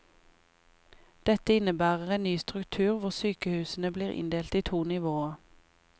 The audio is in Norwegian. Dette innebærer en ny struktur hvor sykehusene blir inndelt i to nivåer.